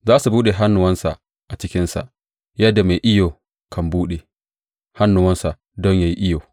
Za su buɗe hannuwansa a cikinsa, yadda mai iyo kan buɗe hannuwansa don yă yi iyo.